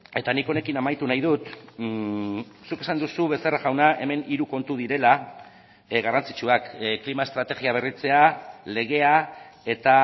eta nik honekin amaitu nahi dut zuk esan duzu becerra jauna hemen hiru kontu direla garrantzitsuak klima estrategia berritzea legea eta